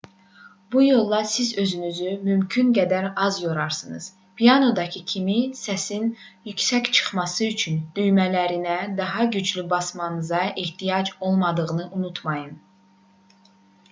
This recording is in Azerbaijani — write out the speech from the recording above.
bu yolla siz özünüzü mümkün qədər az yorarsınız pianinodakı kimi səsin yüksək çıxması üçün düymələrinə daha güclü basmanıza ehtiyac olmadığını unutmayın